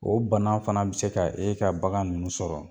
O bana fana bɛ se ka e ka bagan ninnu sɔrɔ.